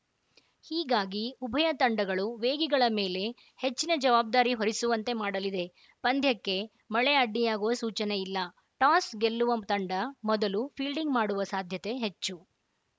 ಹೀಗಾಗಿ ಉಭಯ ತಂಡಗಳು ವೇಗಿಗಳ ಮೇಲೆ ಹೆಚ್ಚಿನ ಜವಾಬ್ದಾರಿ ಹೊರಿಸುವಂತೆ ಮಾಡಲಿದೆ ಪಂದ್ಯಕ್ಕೆ ಮಳೆ ಅಡ್ಡಿಯಾಗುವ ಸೂಚನೆ ಇಲ್ಲ ಟಾಸ್‌ ಗೆಲ್ಲುವ ತಂಡ ಮೊದಲು ಫೀಲ್ಡಿಂಗ್‌ ಮಾಡುವ ಸಾಧ್ಯತೆ ಹೆಚ್ಚು